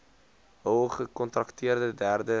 hul gekontrakteerde derde